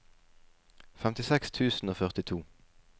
femtiseks tusen og førtito